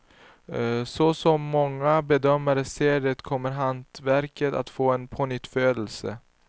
Så som många bedömare ser det kommer hantverket att få en pånyttfödelse.